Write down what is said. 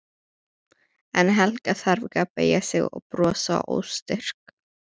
En Helga þarf ekki að beygja sig og brosa óstyrk.